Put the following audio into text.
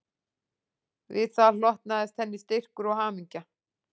Við það hlotnaðist henni styrkur og hamingja